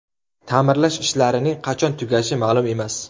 Ta’mirlash ishlarining qachon tugashi ma’lum emas.